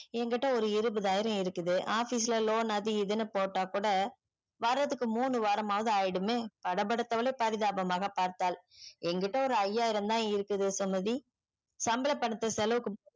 என்கிட்ட ஒரு இருபதாயிரம் இருக்குது office ல loan அது இது போட்டா கூட வரதுக்கு முனு வாரமாவது ஆய்டுமே பட படுத்தவலே பரிதாபமாக பார்த்தால் என்கிட்ட ஒரு ஐயாயிரம் தான் இருக்கு சுமதி சம்பள பணத்த செலவுக்கு